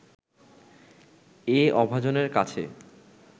এ অভাজনের কাছে